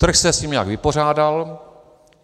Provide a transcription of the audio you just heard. Trh se s ním nějak vypořádal.